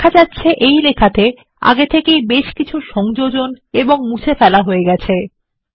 দেখা যাচ্ছে এই নথিতে বেশ কিছু সংযোজন ও মুছে ফেলা হয়ে গেছে